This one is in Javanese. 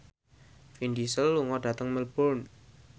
Vin Diesel lunga dhateng Melbourne